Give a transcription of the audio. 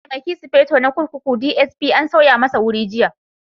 Mataimakin Sufeto na kurkuku (DSP) an sauya masa wuri jiya.